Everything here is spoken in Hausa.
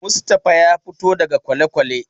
Mustapha ya fito daga kwalekwale.